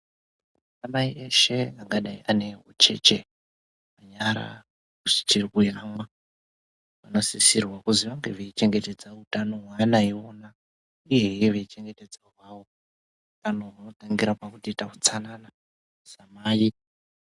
Ana mai wshe angadai ane mucheche munyara dzichiri kuyamwa vanosisira kuzi vange veichengetedza utano hweana iwona uyehe hwao utano hunotangira pakuroite utsanana samai.